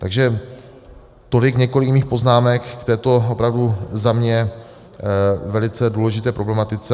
Takže tolik několik mých poznámek k této opravdu za mě velice důležité problematice.